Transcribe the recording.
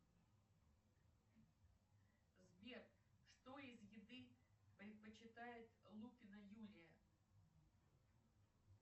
сбер что из еды предпочитает лупина юлия